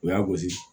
U y'a gosi